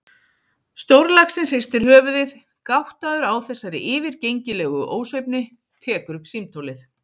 Stórlaxinn hristir höfuðið, gáttaður á þessari yfirgengilegu ósvífni, tekur upp símtólið.